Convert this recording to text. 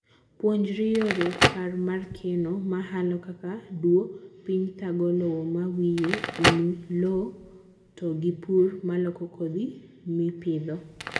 Puonjri yore purr mar keno, mahalo kaka duoo piny thago lowo mawiye, umu lowow to gi purr maloko kodhi mipidho.